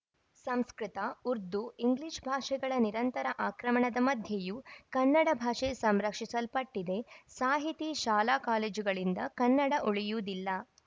Sanskrit Urdu English ಭಾಷೆಗಳ ನಿರಂತರ ಆಕ್ರಮಣದ ಮಧ್ಯೆಯೂ ಕನ್ನಡ ಭಾಷೆ ಸಂರಕ್ಷಿಸಲ್ಪಟ್ಟಿದೆ ಸಾಹಿತಿ ಶಾಲಾಕಾಲೇಜುಗಳಿಂದ ಕನ್ನಡ ಉಳಿಯುವುದಿಲ್ಲ